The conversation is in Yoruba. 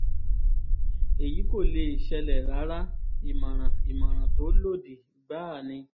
èyí kò lè ṣẹlẹ̀ rárá ìmọ̀ràn ìmọ̀ràn tó lòdì gbáà ni